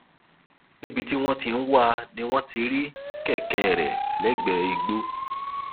níbi tí wọn ti ń wá a ni wọn ti rí kẹkẹ rẹ lẹgbẹẹ igbó